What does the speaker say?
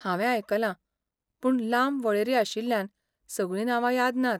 हांवें आयकलां, पूण लांब वळेरी आशिल्ल्यान सगळीं नांवां याद नात.